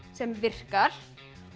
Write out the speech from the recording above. sem virkar